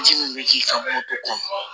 Ji min bɛ k'i ka moto kɔnɔ